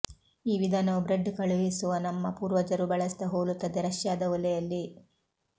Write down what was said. ಈ ವಿಧಾನವು ಬ್ರೆಡ್ ಕಳುಹಿಸುವ ನಮ್ಮ ಪೂರ್ವಜರು ಬಳಸಿದ ಹೋಲುತ್ತದೆ ರಷ್ಯಾದ ಒಲೆಯಲ್ಲಿ